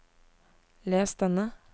les denne